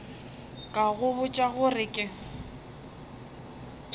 ka go botša gore ke